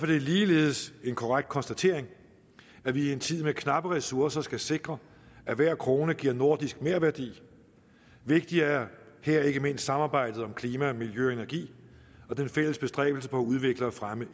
det ligeledes en korrekt konstatering at vi i en tid med knappe ressourcer skal sikre at hver krone giver nordisk merværdi vigtigt er her ikke mindst samarbejdet om klima miljø og energi og den fælles bestræbelse på at udvikle og fremme